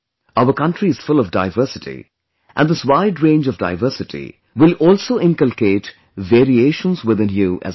Our country is full of diversity and this wide range of diversity will also inculcate variations within you as a teacher